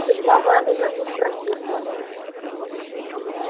судьба мамина тут прокисла